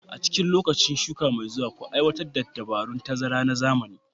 A cikin lokacin shuka mai zuwa, ku aiwatar da dabarun tazara na zamani